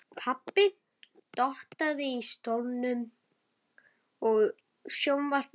Pabbi dottaði í stólnum, sjónvarpið var enn á.